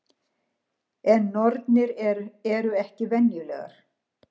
En nornir eru ekki venjulegar.